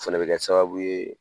O fɛnɛ bɛ kɛ sababu ye